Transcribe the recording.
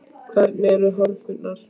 Hvernig eru horfurnar?